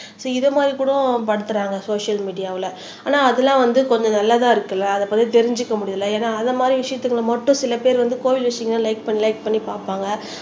so இதை மாதிரி கூடவும் படுத்துறாங்க சோசியல் மீடியால ஆனா அதெல்லாம் வந்து கொஞ்சம் நல்லதா இருக்குல்ல அதைப் பத்தி தெரிஞ்சுக்க முடியுதுல்ல ஏன்னா அதை மாதிரி விஷயத்துக்கு மட்டும் சில பேர் வந்து கோவில் விஷயங்களை லைக் பண்ணி லைக் பண்ணி பார்ப்பாங்க